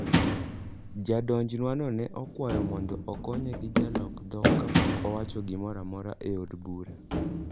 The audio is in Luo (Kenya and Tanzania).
Jadonjnwano ne okwayo mondo okonye gi jalok dhok kapok owacho gimoro amora e od bura.